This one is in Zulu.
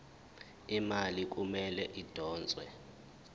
imali kumele idonswe